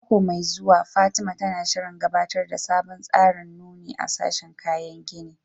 A mako mai zuwa, Fatima, tana shirin gabatar da sabon tsarin nuni a sashin kayan gini